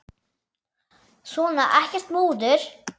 Svona, ekkert múður.